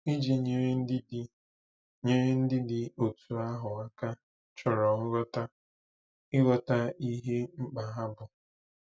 Iji nyere ndị dị nyere ndị dị otú ahụ aka chọrọ nghọta, ịghọta ihe mkpa ha bụ.